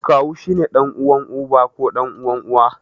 Kawu shi ne ɗan'uwan uba ko ɗan'uwan Uwa.